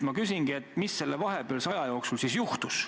Ma küsingi, mis selle vahepealse aja jooksul siis juhtus.